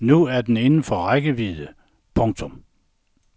Nu er den inden for rækkevidde. punktum